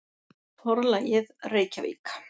Forlagið: Reykjavík.